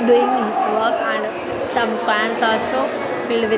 doing his and some cans also filled with --